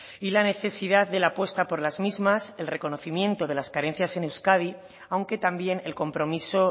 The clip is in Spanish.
y la necesidad de la apuesta por las mismas el reconocimiento de las carencias en euskadi aunque también el compromiso